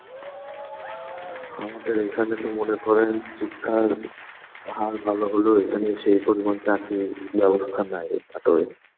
আমাদের এখানে তো মনে করেন শিক্ষার হার ভালো হলো এখানে সেই পরিমাণ টা চাকরির ব্যবস্থা নাই নাটোরে.